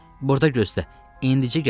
Burda gözlə, indicə gələcək.